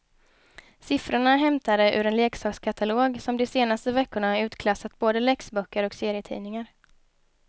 Siffrorna är hämtade ur en leksakskatalog som de senaste veckorna utklassat både läxböcker och serietidningar.